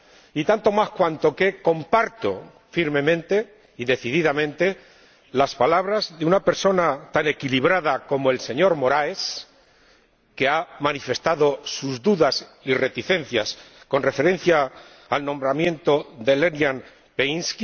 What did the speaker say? Y tanto más cuanto que comparto firmemente y decididamente las palabras de una persona tan equilibrada como el señor Moraes, que ha manifestado sus dudas y reticencias con referencia al nombramiento de Delyan Peevski.